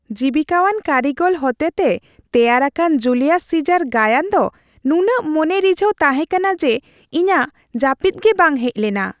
ᱡᱤᱵᱤᱠᱟᱣᱟᱱ ᱠᱟᱹᱨᱤᱜᱚᱞ ᱠᱚ ᱦᱚᱴᱮᱛᱮ ᱛᱮᱭᱟᱨ ᱟᱠᱟᱱᱟ ᱡᱩᱞᱤᱭᱟᱥ ᱥᱤᱡᱟᱨ ᱜᱟᱭᱟᱱ ᱫᱚ ᱱᱩᱱᱟᱹᱜ ᱢᱚᱱᱮ ᱨᱤᱡᱷᱟᱱ ᱛᱟᱦᱮᱸ ᱠᱟᱱᱟ ᱡᱮ ᱤᱧᱟᱹᱜ ᱡᱟᱹᱯᱤᱫ ᱜᱮ ᱵᱟᱝ ᱦᱮᱡ ᱞᱮᱱᱟ ᱾